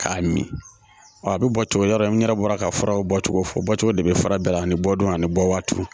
K'a min a bɛ bɔ cogo min yɔrɔ n yɛrɛ bɔra ka faraw bɔ cogo fɔ cogo de bɛ fara bɛɛ la ani bɔdon ani bɔ waati